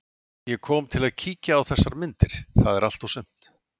Ég kom til að kíkja á þessar myndir, það er allt og sumt.